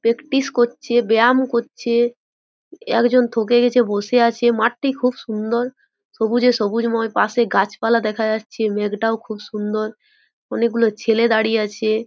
Practice করছে বেয়াম করছে একজন থকে গেছে বসে আছে মাঠটি খুব সুন্দর সবুজে সবুজময় পাশে গাছপালা দেখা যাচ্ছে মেঘটাও খুব সুন্দর অনেক গুলো ছেলে দাঁড়িয়ে আছে।